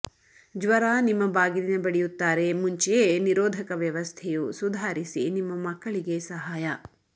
ಜ್ವರ ನಿಮ್ಮ ಬಾಗಿಲಿನ ಬಡಿಯುತ್ತಾರೆ ಮುಂಚೆಯೇ ನಿರೋಧಕ ವ್ಯವಸ್ಥೆಯು ಸುಧಾರಿಸಿ ನಿಮ್ಮ ಮಕ್ಕಳಿಗೆ ಸಹಾಯ